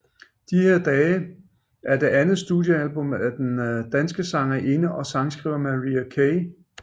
De her dage er det andet studiealbum af den danske sangerinde og sangskriver Marie Key